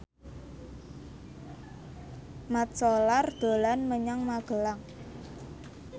Mat Solar dolan menyang Magelang